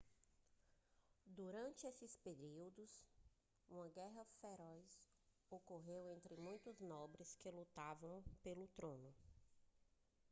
durante esses períodos uma guerra feroz ocorreu entre muitos nobres que lutavam pelo trono